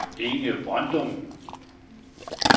Inge Brøndum